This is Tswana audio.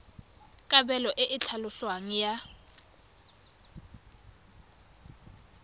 kabelo e e tlhaloswang ya